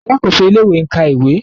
Alákòóso ilé-ìwé ń ka ìwé.